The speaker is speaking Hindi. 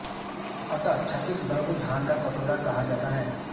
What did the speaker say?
अतः छत्तीसगढ़ को धान का कटोरा कहा जाता है